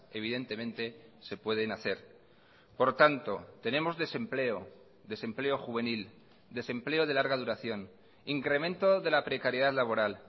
evidentemente se pueden hacer por tanto tenemos desempleo desempleo juvenil desempleo de larga duración incremento de la precariedad laboral